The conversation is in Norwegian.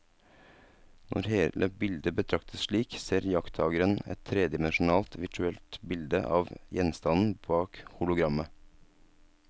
Når hele bildet betraktes slik, ser iakttakeren et tredimensjonalt virtuelt bilde av gjenstanden bak hologrammet.